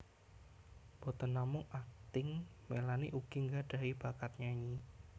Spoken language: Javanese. Boten namung akting Melanie ugi nggadhahi bakat nyanyi